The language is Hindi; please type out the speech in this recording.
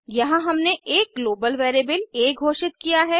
यहाँ हमने एक ग्लोबल वेरिएबल आ घोषित किया है